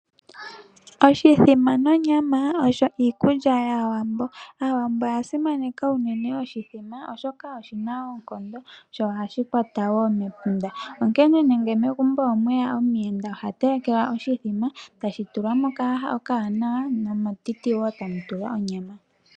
Oshithama nonyama osho iikulya yaawambo, aawambo oya simaneka unene oshithima oshoka oshina oonkondo sho ohashi kwata woo mepunda. Onkene nenge megumbo omweya omuyenda ohatelekelwa oshithima tashi tulwa mookaha okawanawa nometiti woo tamu tulwa onyama.